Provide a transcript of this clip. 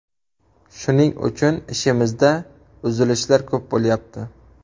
Shuning uchun ishimizda uzilishlar ko‘p bo‘lyapti.